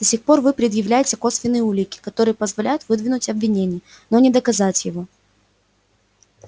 до сих пор вы предъявляете косвенные улики которые позволяют выдвинуть обвинение но не доказать его